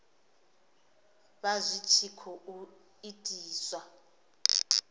vha zwi tshi khou itiswa